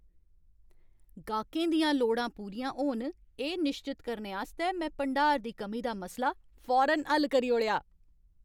गाह्कें दियां लोड़ा पूरियां होन, एह् निश्चत करने आस्तै में भंडार दी कमी दा मसला फौरन हल्ल करी ओड़ेआ।